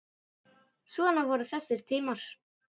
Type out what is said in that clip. Svona voru þessi tímar.